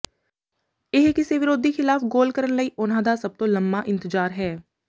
ਇਹ ਕਿਸੇ ਵਿਰੋਧੀ ਖ਼ਿਲਾਫ਼ ਗੋਲ ਕਰਨ ਲਈ ਉਨ੍ਹਾਂ ਦਾ ਸਭ ਤੋਂ ਲੰਮਾ ਇੰਤਜਾਰ ਹੈ